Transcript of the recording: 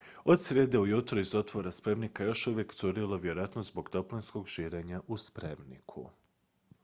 od srijede ujutro iz otvora spremnika je još uvijek curilo vjerojatno zbog toplinskog širenja u spremniku